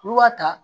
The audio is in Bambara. N'i b'a ta